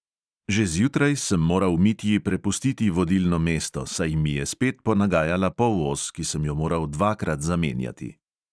Že zjutraj sem moral mitji prepustiti vodilno mesto, saj mi je spet ponagajala polos, ki sem jo moral dvakrat zamenjati.